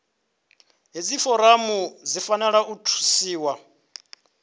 hedzi foramu dzi fanela u thusiwa